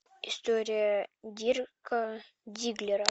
история дирка дигглера